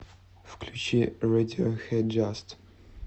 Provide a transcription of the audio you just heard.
включи рэдиохэд джаст